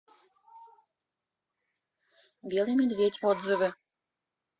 белый медведь отзывы